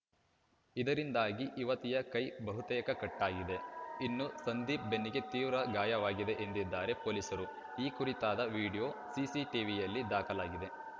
ಇದರಿಂದಾಗಿ ಯುವತಿಯ ಕೈ ಬಹುತೇಕ ಕಟ್‌ ಆಗಿದೆ ಇನ್ನು ಸಂದೀಪ್‌ ಬೆನ್ನಿಗೆ ತೀವ್ರ ಗಾಯವಾಗಿದೆ ಎಂದಿದ್ದಾರೆ ಪೊಲೀಸರು ಈ ಕುರಿತಾದ ವಿಡಿಯೋ ಸಿಸಿಟಿವಿಯಲ್ಲಿ ದಾಖಲಾಗಿದೆ